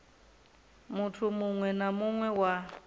muthu muwe na muwe wa